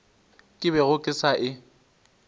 ke bego ke sa e